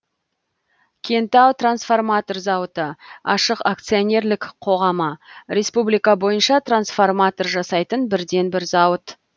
кентау трансформатор зауыты ашық акционерлік қоғамы республика бойынша трансформатор жасайтын бірден бір зауыт